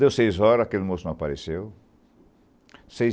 Deu seis horas, aquele moço não apareceu. Seis